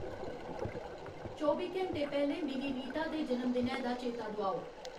चौबी घैंटे पैह्‌लें मिगी रीता दे जनम दिनै दा चेता दोआओ